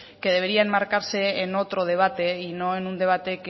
que debería enmarcarse en otro debate y no en un debate